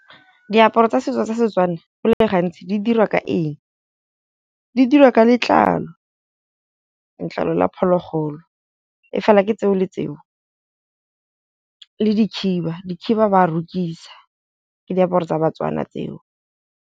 Diaparo tsa setso tsa Setswana go le gantsi di dirwa ka eng. Di dirwa ka letlalo, letlalo la phologolo e fela ke tseo le tseo le dikhiba, dikhiba ba rokisa ke diaparo tsa Batswana tseo.